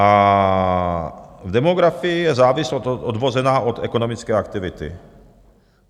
A v demografii je závislost odvozená od ekonomické aktivity.